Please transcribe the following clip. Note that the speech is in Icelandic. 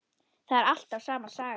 Það er alltaf sama sagan.